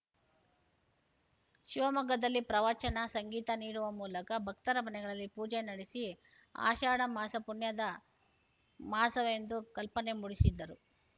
ಶಿವಮೊಗ್ಗದಲ್ಲಿ ಪ್ರವಚನ ಸಂಗೀತ ನೀಡುವ ಮೂಲಕ ಭಕ್ತರ ಮನೆಗಳಲ್ಲಿ ಪೂಜೆ ನಡೆಸಿ ಆಷಾಢ ಮಾಸ ಪುಣ್ಯದ ಮಾಸವೆಂದು ಕಲ್ಪನೆ ಮೂಡಿಸಿದ್ದರು